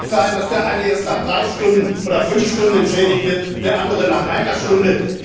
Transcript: Es kann nicht sein, dass der eine erst nach drei oder fünf Stunden entschädigt wird, der andere nach einer Stunde.